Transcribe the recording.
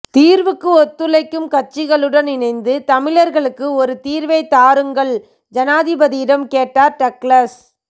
தீர்வுக்கு ஒத்துழைக்கும் கட்சிகளுடன் இணைந்து தமிழர்களுக்கு ஒரு தீர்வை தாருங்கள் ஜனாதிபதியிடம் கேட்டார் டக்ளஸ்